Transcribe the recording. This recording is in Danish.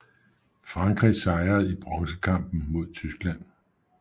Frankrig sejrede i bronzekampen mod Tyskland